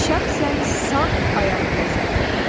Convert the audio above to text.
Şəxsən sağ ayaq həzrətlərinə.